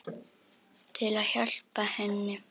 Til að hjálpa henni.